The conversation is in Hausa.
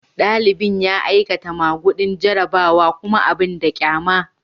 Dalibin ya yi aikata magudin jarrabawa kuma abin da kyama.